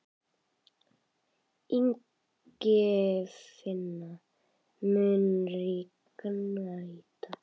Ingifinna, mun rigna í dag?